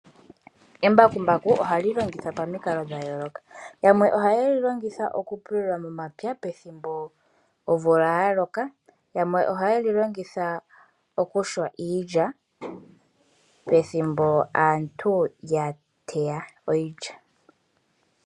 Embakumbaku ohali lonhithwa pamikalo dha yooloka. Yamwe ohaye li longitha okupulula momapya pethimbo omvula ya loka. Yamwe ohaye li longitha okumbakula iilya pethimbo aantu ya teya iilya.